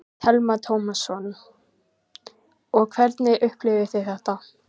Telma Tómasson: Og hvernig upplifðuð þið þetta?